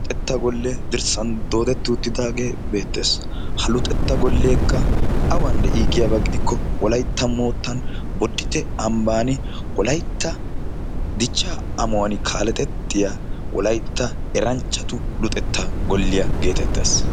Luxetta gole dirssan doodetti utidaage beettees. ha luxetta golekka awan de'i giiko boditte ambban wolaytta dicca ammauwaan kaaletettiya wolaytta eranchchatu golliyaa getettees.